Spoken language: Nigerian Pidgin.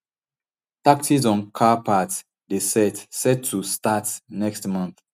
taxes on car parts dey set set to start next month